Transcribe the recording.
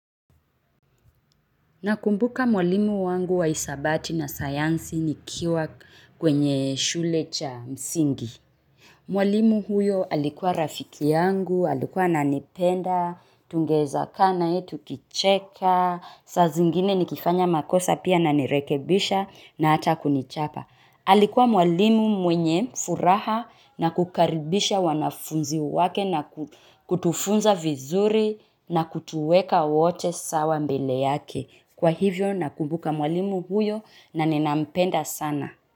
Nakumbuka mwalimu wangu wa hisabati na sayansi nikiwa kwenye shule cha msingi. Mwalimu huyo alikuwa rafiki yangu, alikuwa ananipenda, tungeeza ka naye tukicheka, saa zingine nikifanya makosa pia ananirekebisha na hata kunichapa. Alikuwa mwalimu mwenye furaha na kukaribisha wanafunzi wake na kutufunza vizuri na kutuweka wote sawa mbele yake. Kwa hivyo nakumbuka mwalimu huyo na ninampenda sana.